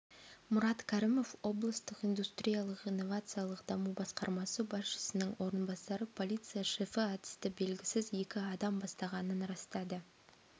мұрат кәрімов облыстық индустриялық-инновациялық даму басқармасы басшысының орынбасары полиция шефі атысты белгісіз екі адам бастағанын растады